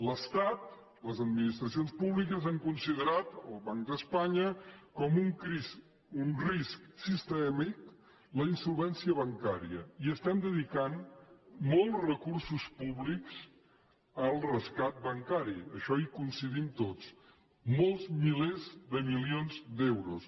l’estat les administracions públiques han considerat el banc d’espanya com un risc sistèmic la insolvència bancària i estem dedicant molts recursos públics al rescat bancari en això hi coincidim tots molts milers de milions d’euros